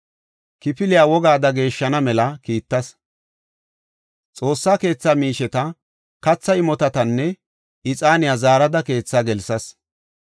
Kifilya wogaada geeshshana mela kiittas. Xoossa keetha miisheta, kathaa, imotatanne ixaaniya zaarada keethaa gelsas.